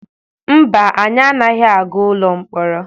Mba, anyị anaghị aga ụlọ mkpọrọ.